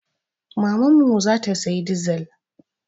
Mamanmu za ta sayi dizil.